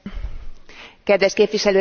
Kedves Képviselőtársnőm!